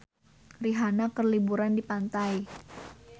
Rihanna keur liburan di pantai